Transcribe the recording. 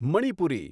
Manipuri